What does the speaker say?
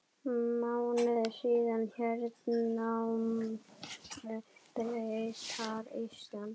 Mánuði síðar hernámu Bretar Ísland.